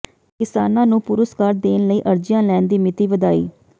ਕਿਸਾਨਾਂ ਨੂੰ ਪੁਰਸਕਾਰ ਦੇਣ ਲਈ ਅਰਜ਼ੀਆਂ ਲੈਣ ਦੀ ਮਿਤੀ ਵਧਾਈ